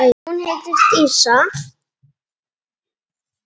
Hún heitir Dísa.